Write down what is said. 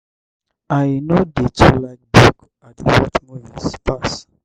i no dey too like book i dey watch movies pass.